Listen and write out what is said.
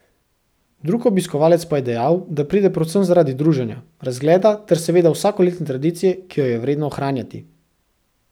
Drug obiskovalec pa je dejal, da pride predvsem zaradi druženja, razgleda ter seveda zaradi vsakoletne tradicije, ki jo je vredno ohranjati.